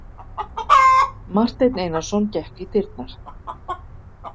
Marteinn Einarsson gekk í dyrnar.